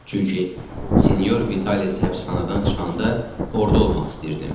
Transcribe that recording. Çünki Sinyor Vitalis həbsxanadan çıxanda orda olmaq istəyirdim.